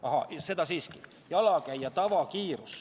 Ahaa, siiski.